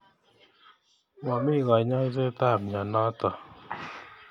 Momi konyoiset ab mnyenotok.